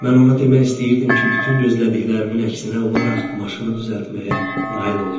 Mən ona demək istəyirdim ki, bütün gözlədiklərimin əksinə olaraq maşını düzəltməyə nail oldum.